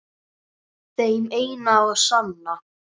Þeim eina og sanna?